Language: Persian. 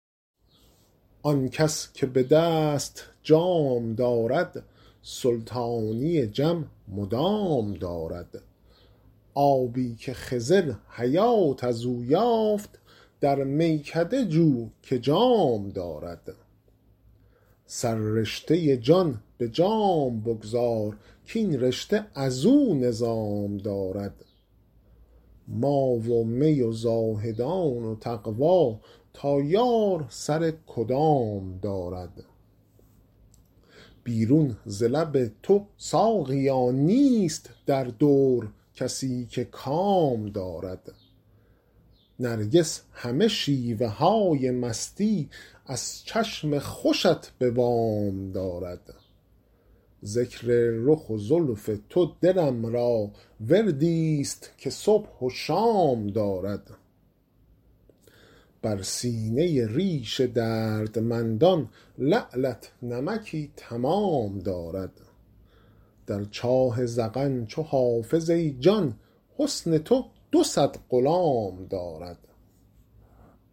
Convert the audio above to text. آن کس که به دست جام دارد سلطانی جم مدام دارد آبی که خضر حیات از او یافت در میکده جو که جام دارد سررشته جان به جام بگذار کاین رشته از او نظام دارد ما و می و زاهدان و تقوا تا یار سر کدام دارد بیرون ز لب تو ساقیا نیست در دور کسی که کام دارد نرگس همه شیوه های مستی از چشم خوشت به وام دارد ذکر رخ و زلف تو دلم را وردی ست که صبح و شام دارد بر سینه ریش دردمندان لعلت نمکی تمام دارد در چاه ذقن چو حافظ ای جان حسن تو دو صد غلام دارد